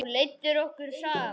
Þú leiddir okkur saman.